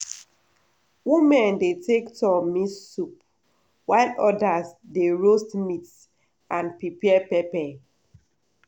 women dey take turn mix soup while others dey roast meat and prepare pepper.